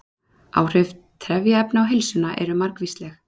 Áhrif trefjaefna á heilsuna eru margvísleg.